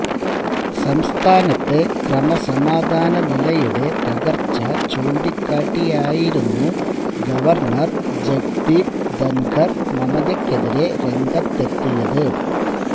സംസ്ഥാനത്തെ ക്രമസമാധാന നിലയുടെ തകർച്ച ചൂണ്ടിക്കാട്ടിയായിരുന്നു ഗവർണർ ജഗ്ദീപ് ധൻഖർ മമതയ്ക്കെതിരെ രംഗത്തെത്തിയത്